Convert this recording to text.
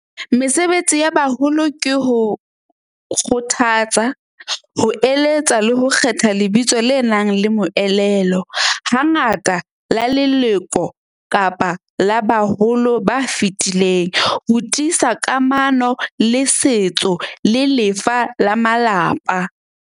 Mesebetsi ya baholo ke ho kgothatsa, ho eletsa le ho kgetha lebitso le nang le moelelo. Hangata, la leloko kapa la baholo ba fetileng, ho tiisa kamano le setso le lefa la malapa.